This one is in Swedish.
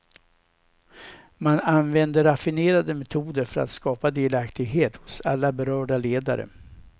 Man använde raffinerade metoder för att skapa delaktighet hos alla berörda ledare.